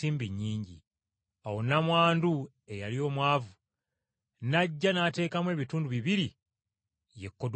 Awo nnamwandu eyali omwavu n’ajja n’ateekamu ebitundu bibiri, ye kodulante.